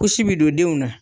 bi don denw na